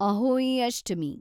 Ahoi Ashtami